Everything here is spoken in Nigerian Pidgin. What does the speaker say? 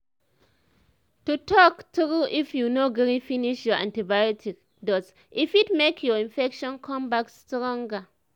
to talk trueif you no gree finish your antibiotics dose e fit make your infection come back stronger